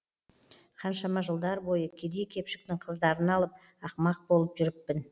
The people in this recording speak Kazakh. қаншама жылдар бойы кедей кепшіктің қыздарын алып ақымақ болып жүріппін